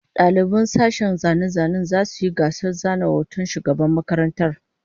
Daliban sashen zane-zanen zasu yi gasar zana hoton shugaban makarantar